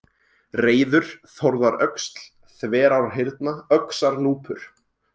Reyður, Þórðaröxl, Þverárhyrna, Öxarnúpur